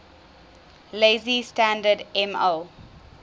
lazy standard ml